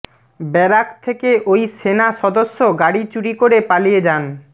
barrack থেকে ওই সেনা সদস্য গাড়ি চুরি করে পালিয়ে যান